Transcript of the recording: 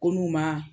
Ko n'u ma